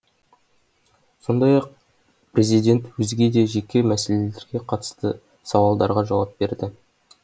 сондай ақ президент өзге де жеке мәселелерге қатысты сауалдарға жауап берді